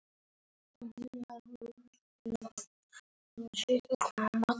Hver trúir þessu í alvöru?